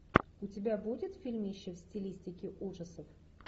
у тебя будет фильмище в стилистике ужасов